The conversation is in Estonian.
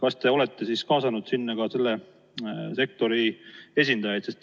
Kas te olete kaasanud sinna arutellu ka selle sektori esindajaid?